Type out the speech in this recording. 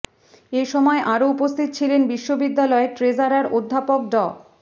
এ সময় আরো উপস্থিত ছিলেন বিশ্ববিদ্যালয়ের ট্রেজারার অধ্যাপক ড